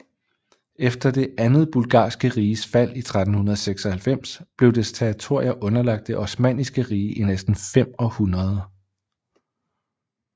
Efter det andet Bulgarske Riges fald i 1396 blev dets territorier underlagt det Osmanniske Rige i næsten fem århundreder